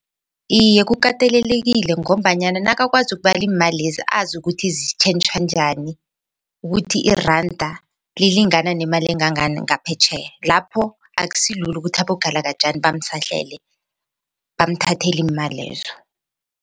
Iye, kukatelelekile ngombanyana nakakwazi ukubala iimalezi azi ukuthi zitjhentjhwa njani ukuthi iranda lilingana nemali engangani ngaphetjheya lapho akusilula ukuthi abogalakajani bamsahlele bamthathe iimalezo.